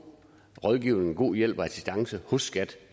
rådgivning hjælp og assistance hos skat